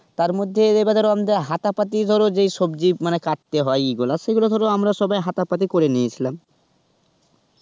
তার মধ্যে এবার ধরো হাতা পাতি যে সবজি মানে কাটতে হয় ইয়ে গুলা সেগুলো ধরো আমরা সবাই হাতা পাতি করে নিয়েছিলাম.